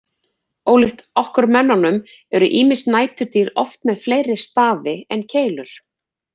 Ólíkt okkur mönnunum eru ýmis næturdýr oft með fleiri stafi en keilur.